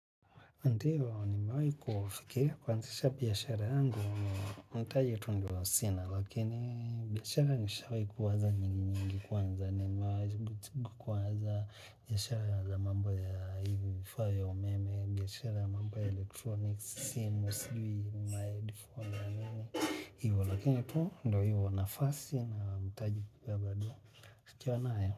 Ndiyo, nimewahi kufikia kuazisha biashara yangu, mtaji tu ndio sina, lakini biashara nishawkahi kuwaza nyingi nyingi kwanza, nimewahi kuwaza biyashara za mambo ya vifaa vya umeme, biashara ya mambo ya electronics, simu, sijui, ma headphone nini nini, hivyo, lakini tu ndo hivyo nafasi na mtaji pia bado ukiwa nayo.